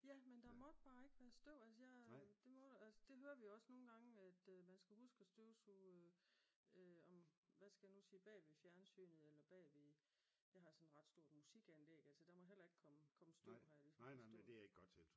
Ja men der måtte bare ikke være støv altså jeg det må der vi høre også nogle gange at man skal huske at støvsuge om hvad skal jeg nu sige bagved fjernsynet eller bagved jeg har sådan et ret stort musikanlæg der må heller ikke komme komme støv har jeg forstået